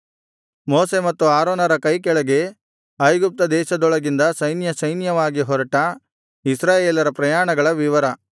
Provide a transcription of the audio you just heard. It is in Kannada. ಮೋಶೆ ಮತ್ತು ಆರೋನರ ಕೈಕೆಳಗೆ ಐಗುಪ್ತ ದೇಶದೊಳಗಿಂದ ಸೈನ್ಯಸೈನ್ಯವಾಗಿ ಹೊರಟ ಇಸ್ರಾಯೇಲರ ಪ್ರಯಾಣಗಳ ವಿವರ